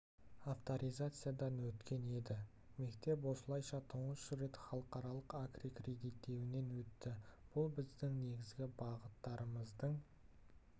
авторизациядан өткен еді бұл мектеп осылайша тұңғыш рет халықаралық аккредиттеуінен өтті бұл біздің негізгі бағыттарымыздың